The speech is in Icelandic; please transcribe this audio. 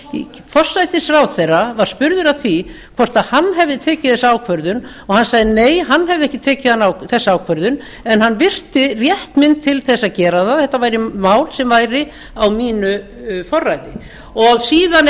hætti forsætisráðherra var spurður að því hvort hann hefði tekið þessa ákvörðun og hann sagði nei hann hefði ekki tekið þessa ákvörðun en hann virti rétt minn til þess að gera það þetta mál sem væri á mínu forræði síðan